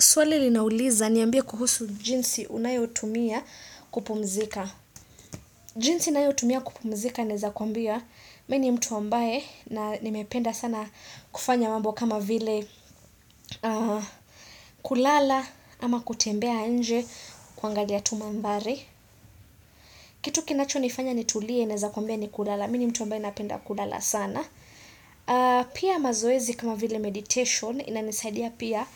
Swali linauliza niambie kuhusu jinsi unayotumia kupumzika. Jinsi nayotumia kupumzika naeza kwambia. Mini mtu ambaye na nimependa sana kufanya mambo kama vile kulala ama kutembea nje kuangalia tu mandhari. Kitu kinacho nifanya nitulie naeza kwambia ni kulala. Mini mtu ambaye napenda kulala sana. Pia mazoezi kama vile meditation inanisaidia pia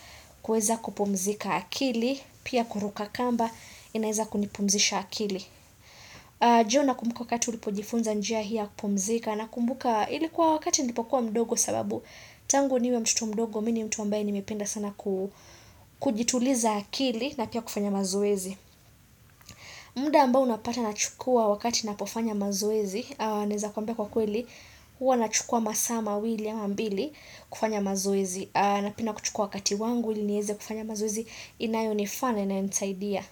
kuweza kupumzika akili. Pia kuruka kamba inaeza kunipumzisha akili ndio na kumbuka wakati ulipojifunza njia hii ya kupumzika na kumbuka ilikuwa wakati nilipokuwa mdogo sababu Tangu niwe mtoto mdogo mini mtu ambaye nimependa sana kujituliza akili na pia kufanya mazoezi mda ambao unapata na chukua wakati na pofanya mazoezi Naeza kwambia kwa kweli Uwa na chukua masaa ma wili ama mbili kufanya mazoezi na penda kuchukua wakati wangu ili nieze kufanya mazoezi inayo ni faa na inayonisaidia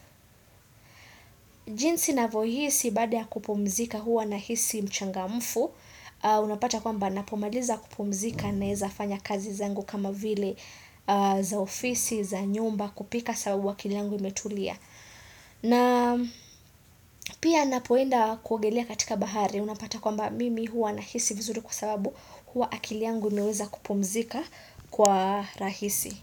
jinsi na vohisi baada ya kupumzika huwa na hisi mchangamfu Unapata kwa mba napomaliza kupumzika naeza fanya kazi zangu kama vile za ofisi, za nyumba kupika sababu akili yangu imetulia na pia napoenda kuogelea katika bahari Unapata kwa mba mimi huwa na hisi vizuri kwa sababu huwa akili yangu imeweza kupumzika kwa rahisi.